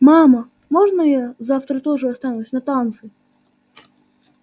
мама можно я завтра тоже останусь на танцы